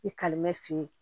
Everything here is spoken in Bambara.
I kalima f'i ye